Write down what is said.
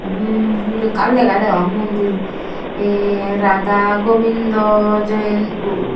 hmm he ekkan lega degong mondir hee radha gobindo --